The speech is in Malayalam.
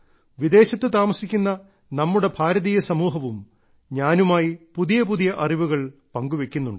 വിദേശത്ത് താമസിക്കുന്ന നമ്മുടെ ഭാരതീയ സമൂഹവും ഞാനുമായി പുതിയ പുതിയ അറിവുകൾ പങ്കുവെയ്ക്കുന്നുണ്ട്